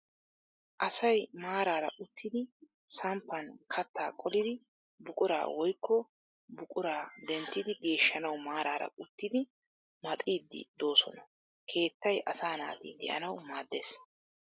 Asay maaraara uttidi samppan kattaa qolidi buquraa woyikko buquraa denttidi geeshshanawu maaraara uttidi maxiiddi doosona. Keettay asaa naati de'anawu maaddes.